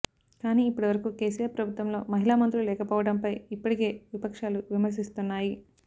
కానీ ఇప్పటి వరకు కేసీఆర్ ప్రభుత్వంలో మహిళా మంత్రులు లేకపోవడంపై ఇప్పటికే విపక్షాలు విమర్శిస్తున్నాయి